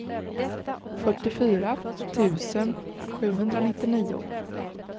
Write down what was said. fyrtiofyra tusen sjuhundranittionio